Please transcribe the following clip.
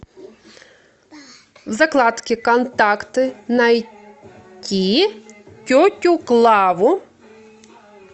закладки контакты найти тетю клаву